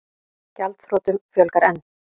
Gjaldþrotum fjölgar enn